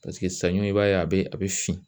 saɲɔ i b'a ye a bɛ a bɛ fin